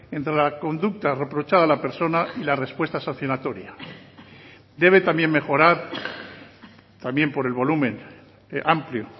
entre la conducta reprochada a la persona y la respuesta sancionatoria debe también mejorar también por el volumen amplio